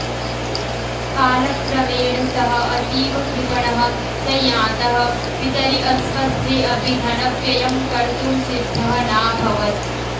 कालक्रमेण सः अतीव कृपणः सञातः पितरि अस्वस्थे अपि धनव्ययं कर्तुं सिद्धः नाभवत्